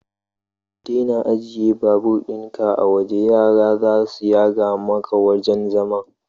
Ka daina ajjiye babur ɗin ka a waje, yara zasu yaga maka wajan zaman